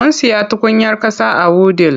Mun siya tukunyar ƙasa a wudil.